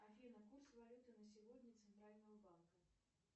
афина курс валюты на сегодня центрального банка